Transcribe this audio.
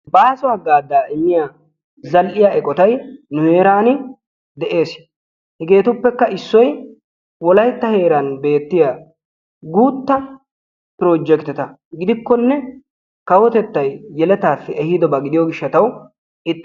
Baaso haggaazaa immiya zal'iya eqqotay nu heeran de'ees. Hegeetuppekka issoy wolaytta heeran beetiya guuttaa projjektetta gidikkonee kawotettay yeletaassi ehiiddobaa gidiyo gishshatawu ...